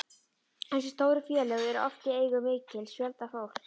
Þessi stóru félög eru oft í eigu mikils fjölda fólks.